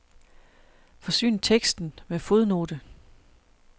Forsyn teksten med fodnote.